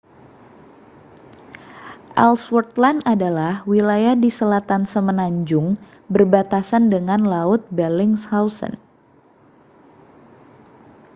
ellsworth land adalah wilayah di selatan semenanjung berbatasan dengan laut bellingshausen